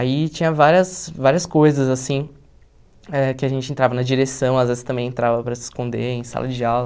Aí tinha várias várias coisas, assim, eh que a gente entrava na direção, às vezes também entrava para se esconder em sala de aula.